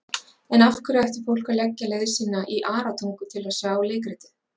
En af hverju ætti fólk að leggja leið sína í Aratungu til að sjá leikritið?